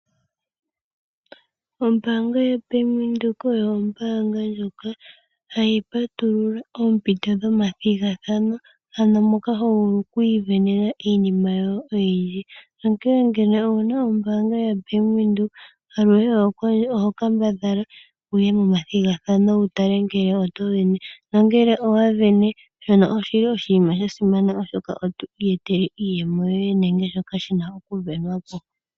Ombaanga yaBank Windhoek oyo ombaanga ndjoka hayi patulula oompito dhomathigathano ano moka ho vulu oku isindanena iinima yoye oyindji. Onkene ngele owuna ombaanga yoye yoBank Windhoek aluhe kambadhala wuye momathigathano wu tale ngele oto sindana nangele owa sindana osha simana oshoka oto iyetele iiyemo nenge shoka tashi sindanwa po.